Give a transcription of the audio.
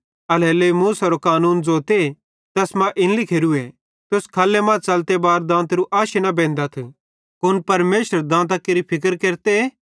एल्हेरेलेइ मूसेरो कानून ज़ोते तैस मां इन लिखोरूए तुस खल्ले मां च़लते बार दांतेरू आशी न बेंदथ कुन परमेशर दांतां केरि फिक्र केरते नईं